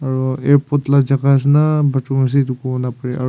aru airport la jaga ase na bathroom ase edu kobo napare aru--